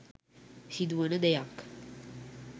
සිදුවන දෙයක්.